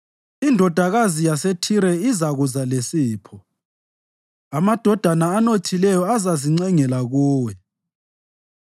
Indodakazi yaseThire izakuza lesipho, amadoda anothileyo azazincengela kuwe.